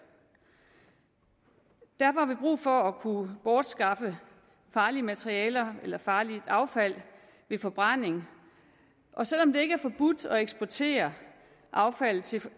derfor har vi brug for at kunne bortskaffe farlige materialer eller farligt affald ved forbrænding og selv om det ikke er forbudt at eksportere affaldet til